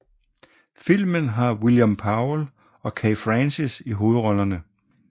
Filmen har William Powell og Kay Francis i hovedrollerne